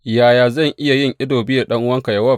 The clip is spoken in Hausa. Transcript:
Yaya zan yin ido biyu da ɗan’uwanka Yowab?